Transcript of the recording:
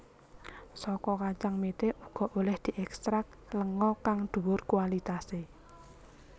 Saka kacang mete uga olèh diekstrak lenga kang dhuwur kualitasé